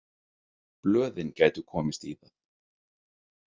Blöðin gætu komist í það.